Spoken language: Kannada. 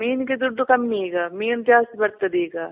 ಮೀನಿಗೆ ದುಡ್ಡು ಕಮ್ಮಿ ಈಗ ಮೀನ್ ಜಾಸ್ತಿ ಬರ್ತದ್ ಈಗ.